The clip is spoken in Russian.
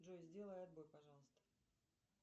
джой сделай отбой пожалуйста